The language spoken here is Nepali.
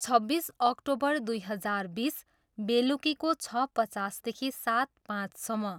छब्बिस अक्टोबर दुई हजार बिस, बेलुकीको छ पचासदेखि सात पाँचसम्म।